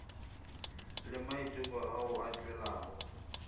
le maiteko ao a tšwelago